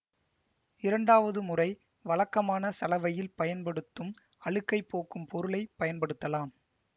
இரண்டாவது முறை வழக்கமான சலவையில் பயன்படுத்தும் அழுக்கைப் போக்கும் பொருளை பயன்படுத்தலாம்